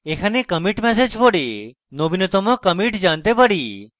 এখানে commit message পড়ে নবীনতম commit জানতে পারি